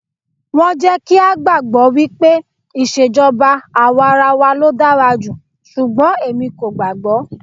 Wọ́n jẹ́ kí á gbàgbọ́ wípé ìṣèjọba àwarawa ló dára jù, ṣùgbọ́n èmi kò gbàágbọ́.